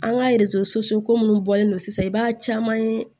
An ka ko minnu bɔlen don sisan i b'a caman ye